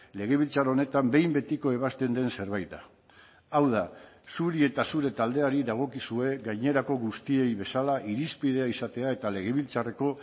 legebiltzar honetan behin betiko ebazten den zerbait da hau da zuri eta zure taldeari dagokizue gainerako guztiei bezala irizpidea izatea eta legebiltzarreko